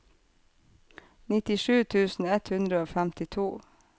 nittisju tusen ett hundre og femtito